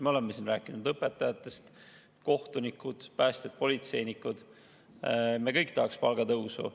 Me oleme siin rääkinud õpetajatest, kohtunikest, päästjatest, politseinikest – kõik tahaksid palgatõusu.